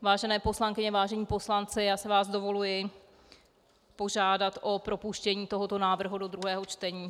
Vážené poslankyně, vážení poslanci, já si vás dovoluji požádat o propuštění tohoto návrhu do druhého čtení.